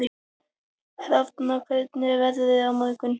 Hrafna, hvernig er veðrið á morgun?